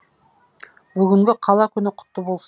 бүгінгі қала күні құтты болсын